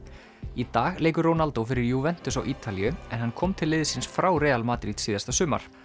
í dag leikur Ronaldo fyrir á Ítalíu en hann kom til liðsins frá Real Madrid síðasta sumar